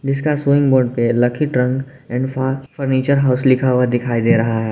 जिसका swing board पे lucky trunk and फा फर्नीचर हाउस लिखा हुआ दिखाई दे रहा है।